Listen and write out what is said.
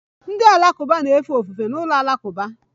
Ndị Alakụba na-efe ofufe n'ụlọ alakụba